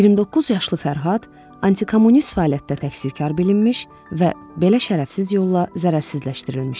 29 yaşlı Fərhad anti-kommunist fəaliyyətdə təqsirkar bilinmiş və belə şərəfsiz yolla zərərsizləşdirilmişdi.